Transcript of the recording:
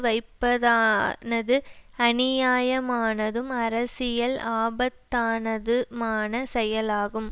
வைப்பதானது அநியாயமானதும் அரசியல் ஆபத்தானதுமான செயலாகும்